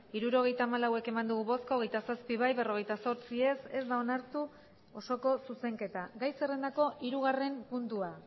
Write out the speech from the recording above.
hirurogeita hamalau eman dugu bozka hogeita zazpi bai berrogeita zortzi ez ez da onartu osoko zuzenketa gai zerrendako hirugarren puntua